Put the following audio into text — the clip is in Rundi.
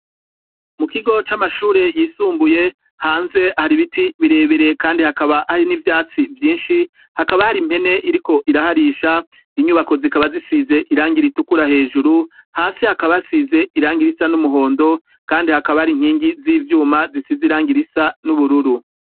Mu kigo c'amashure yisumbuye hanze hari ibiti birebere kandi hakaba hari n'ivyatsi vyinshi, hakaba hari impene iriko iraharisha, inyubako zikaba zisize irangi ritukura hejuru, hasi hakaba hasize irangi risa n'umuhondo kandi hakaba hari inkingi z'ivyuma zisize irangi risa n'ubururu.